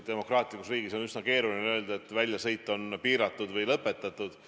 Demokraatlikus riigis on üsna keeruline öelda, et väljasõit on piiratud või lõpetatud.